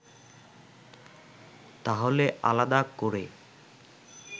তাহলে আলাদা করে